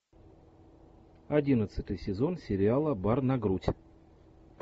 одиннадцатый сезон сериала бар на грудь